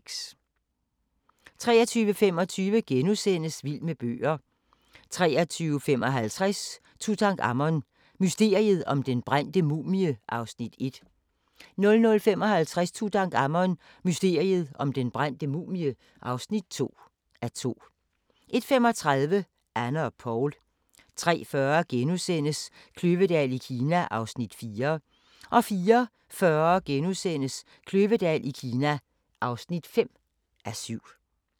23:25: Vild med bøger * 23:55: Tutankhamon: Mysteriet om den brændte mumie (1:2) 00:55: Tutankhamon: Mysteriet om den brændte mumie (2:2) 01:35: Anne og Poul 03:40: Kløvedal i Kina (4:7)* 04:40: Kløvedal i Kina (5:7)